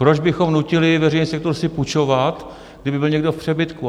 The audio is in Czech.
Proč bychom nutili veřejný sektor si půjčovat, kdyby byl někdo v přebytku?